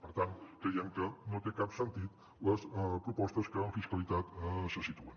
per tant creiem que no tenen cap sentit les propostes que en fiscalitat se situen